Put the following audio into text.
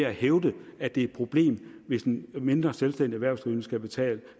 at hævde at det er et problem hvis en mindre selvstændig erhvervsdrivende skal betale